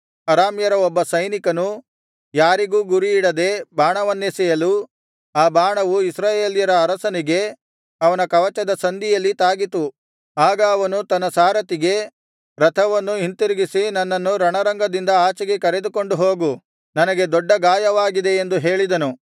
ಅರಾಮ್ಯರ ಒಬ್ಬ ಸೈನಿಕನು ಯಾರಿಗೂ ಗುರಿಯಿಡದೆ ಬಾಣವನ್ನೆಸೆಯಲು ಆ ಬಾಣವು ಇಸ್ರಾಯೇಲ್ಯರ ಅರಸನಿಗೆ ಅವನ ಕವಚದ ಸಂದಿಯಲ್ಲಿ ತಾಗಿತು ಆಗ ಅವನು ತನ್ನ ಸಾರಥಿಗೆ ರಥವನ್ನು ಹಿಂತಿರುಗಿಸಿ ನನ್ನನ್ನು ರಣರಂಗದಿಂದ ಆಚೆಗೆ ಕರೆದುಕೊಂಡು ಹೋಗು ನನಗೆ ದೊಡ್ಡ ಗಾಯವಾಗಿದೆ ಎಂದು ಹೇಳಿದನು